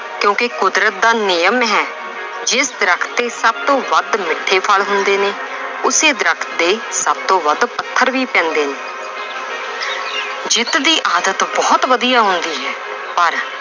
ਕਿਉਂਕਿ ਕੁਦਰਤ ਦਾ ਨਿਯਮ ਹੈ ਜਿਸ ਦਰਖਤ ਤੇ ਸਭ ਤੋਂ ਵੱਧ ਮਿੱਠੇ ਫਲ ਹੁੰਦੇ ਨੇ ਉਸੇ ਦਰਖਤ ਦੇ ਸਭ ਤੋਂ ਵੱਧ ਪੱਥਰ ਵੀ ਪੈਂਦੇ ਨੇ ਜਿੱਤ ਦੀ ਆਦਤ ਬਹੁਤ ਵਧੀਆ ਹੁੰਦੀ ਹੈ ਪਰ